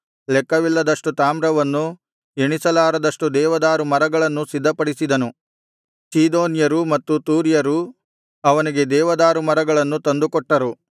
ಲೆಕ್ಕವಿಲ್ಲದ್ದಷ್ಟು ತಾಮ್ರವನ್ನೂ ಎಣಿಸಲಾರದಷ್ಟು ದೇವದಾರುಮರಗಳನ್ನೂ ಸಿದ್ಧಪಡಿಸಿದನು ಚೀದೋನ್ಯರು ಮತ್ತು ತೂರ್ಯರೂ ಅವನಿಗೆ ದೇವದಾರುಮರಗಳನ್ನು ತಂದುಕೊಟ್ಟರು